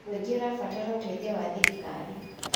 Mũingĩ ũrabatara ũteithio wa thirikari.